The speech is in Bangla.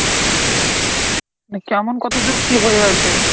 কেমন কতদূর কী হয়ে আছে?